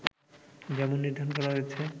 যেমন নির্ধারণ করা হয়েছে